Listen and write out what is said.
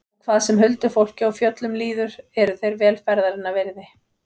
Og hvað sem huldufólki og fjöllum líður eru þeir vel ferðarinnar virði.